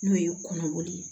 N'o ye kɔnɔkori ye